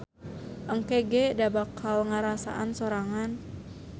Engke ge da bakal ngasaan sorangan.